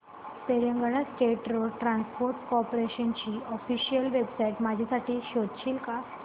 Telangana state road transport corporation ची official website माझ्यासाठी शोधशील का